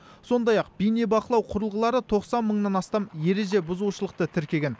сондай ақ бейнебақылау құрылғылары тоқсан мыңнан астам ереже бұзушылықты тіркеген